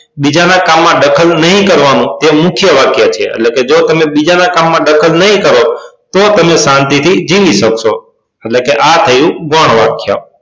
બીજાના કામમાં દખલ નહિ કરવાનું તે મુખ્ય વાક્ય થયા એટલે કે જો તમે બીજાના કામમાં દખલ નહિ કરો તો તમે શાંતિ થી જીવી શકશો એટલે કે આ થયું ગૌણ વાક્ય